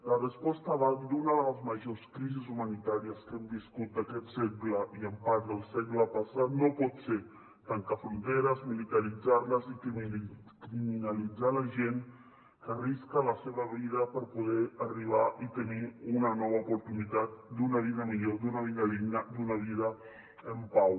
la resposta davant d’una de les majors crisis humanitàries que hem viscut d’aquest segle i en part del segle passat no pot ser tancar fronteres militaritzar les i criminalitzar la gent que arrisca la seva vida per poder arribar i tenir una nova oportunitat d’una vida millor d’una vida digna d’una vida en pau